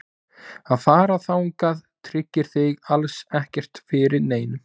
Að fara þangað tryggir þig alls ekkert fyrir neinu.